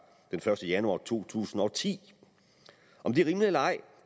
den første januar to tusind og ti om det er rimeligt eller ej